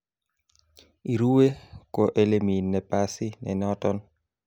Ireu ko elemi napasi ne noton